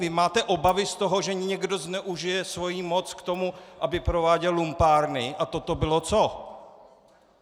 Vy máte obavy z toho, že někdo zneužije svoji moc k tomu, aby prováděl lumpárny - a toto bylo co?